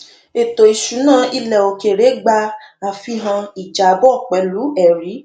ètò ìṣúná ilẹ òkèèrè gba àfihàn ìjábọ pẹlú ẹrí